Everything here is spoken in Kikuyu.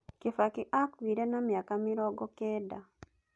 Kibaki akuire na mĩaka mĩrongo kenda.